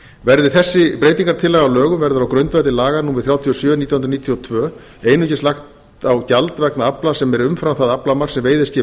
verði þessi breytingartillaga að lögum verður á grundvelli laga númer þrjátíu og sjö nítján hundruð níutíu og tvö einungis lagt á gjald vegna afla sem er umfram það aflamark sem veiðiskip